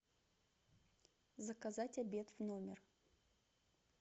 заказать обед в номер